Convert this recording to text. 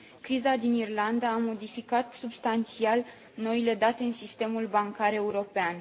Criza din Irlanda a modificat substanțial noile date în sistemul bancar european.